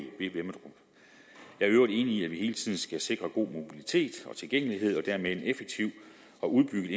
øvrigt enig i at vi hele tiden skal sikre god mobilitet og tilgængelighed og dermed en effektiv og udbygget